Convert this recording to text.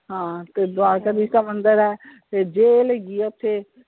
ਹਾਂ ਤੇ ਦਵਾਰਕਾ ਦੀਸ਼ ਦਾ ਮੰਦਿਰ ਹੈ ਤੇ ਜੇਲ ਹੈਗੀ ਆ ਓਥੇ,